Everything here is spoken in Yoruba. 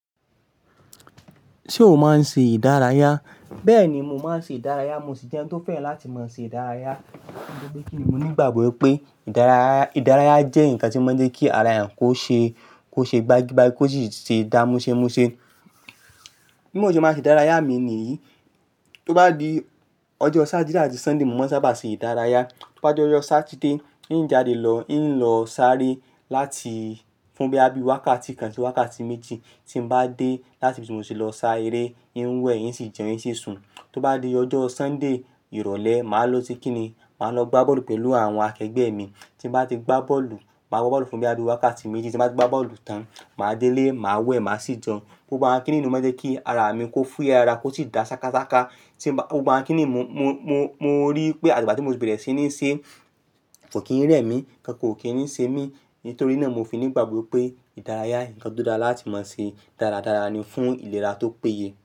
Ṣé o máa ń ṣe ìdárayá? Bẹ́ẹ̀ni, mo máa ń ṣe ìdárayá. Mo sì jẹ́ ẹni tó fẹ́ràn láti máa ṣe ìdárayá. Nítorí pé kíni mo ní ìgbàgbọ́ pé ìdárayá, ìdárayá jẹ́ nǹkan tí ó máa ń jẹ́ kí ara èèyàn kó ṣe, kó ṣe gbagi-gbagi kó sì ṣe dá múṣẹ́múṣe. Bí mo ṣe máa ṣe ìdárayá mi nìyí, tó bá di ọjọ́ Saturday àti Sunday mo máa ń sábà ṣe ìdárayá. Tó bá di ọjọ́ Saturday, n jáde lọ, n lọ sáré láti fún bí i wákàtí kan sí wákàtí méjì. Tí mo bá dé láti ibi tí mo ti lọ sá eré, n wẹ̀, n sì jẹun, n sì sùn. Tó bá di ọjọ́ Sunday, ìrọ̀lẹ́, màá lọ ṣe kíni? Màá lọ gbá bọ́ọ̀lù pẹ̀lú àwọn akẹgbẹ́ mi. Tí mo bá ti gbá bọ́ọ̀lù, màá gbá bọ́ọ̀lù fún bí i wákàtí méjì. Tí mo bá ti gbá bọ́ọ̀lù tán, màá dé ilé, màá wẹ̀, màá sì jẹun. Gbogbo àwọn kínní nìí ó máa ń jẹ́ kí ara mi kó fúyẹ́ ara kó sì dá ṣákáṣáká. Tí mo bá, gbogbo àwọn kínní mo, mo, mo, mo rí pé àtigbà tí mo ti bẹ̀rẹ̀ sí ní ṣe ko kí n rẹ mi, nkan kan kò kí n ṣe mí. Nítorí náà mo fi ní ìgbàgbọ́ pé ìdárayá, nǹkan tó dára láti máa ṣe. Dáradára ni fún ìlera tó péye.